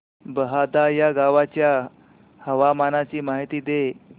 बहादा या गावाच्या हवामानाची माहिती दे